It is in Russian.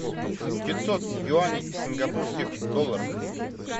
пятьсот юаней в сингапурских долларах